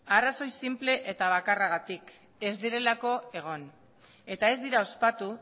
arrazoi sinple eta bakarragatik ez direlako egon eta ez dira ospatu